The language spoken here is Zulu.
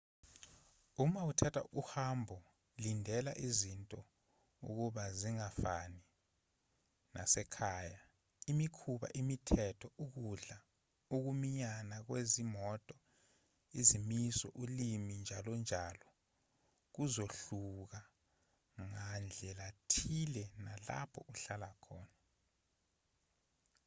uma uthatha uhambo lindela izinto ukuba zingafani nasekhaya imikhuba imithetho ukudla ukuminyana kwezimoto izimiso ulimi njalonjalo kuzohluka ngandlelathile nalapho uhlala khona